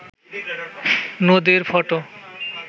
নদীর ফটো